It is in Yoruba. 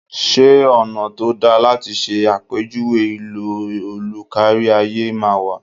Ṣé ọ̀nà tó dáa láti ṣe àpèjúwe ìlò òlù kárí ayé máa wà?